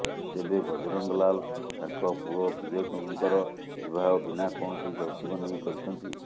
ତେବେ ବଜରଙ୍ଗ ଲାଲ ତାଙ୍କ ପୁଅ ବିବେକଙ୍କର ବିବାହ ବିନା କୌଣସି ଯୌତୁକ ନେଇ କରିଛନ୍ତି